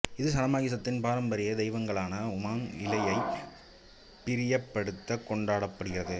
இது சனமாகிசத்தின் பாரம்பரிய தெய்வங்களான உமாங் இலாயைப் பிரியப்படுத்த கொண்டாடப்படுகிறது